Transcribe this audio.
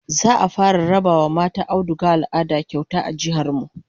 Za'a fara raba wa mata audugar al'ada kyauta a jihar mu